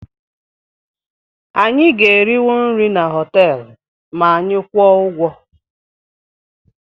Anyị ga-eriwu nri na họteelụ ma anyị kwụọ ụgwọ